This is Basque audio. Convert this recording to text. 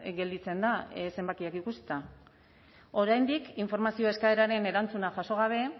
gelditzen da zenbakiak ikusita oraindik informazio eskaeraren erantzuna jaso gabe